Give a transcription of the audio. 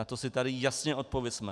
Na to si tady jasně odpovězme.